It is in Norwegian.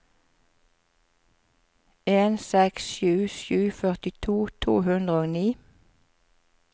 en seks sju sju førtito to hundre og ni